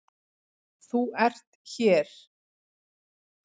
ÞÚ ERT hér.